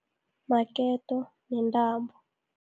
Maketo nentambo.